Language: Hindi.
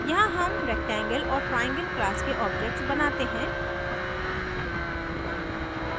यहाँ हम rectangle और triangle class के objects बनाते हैं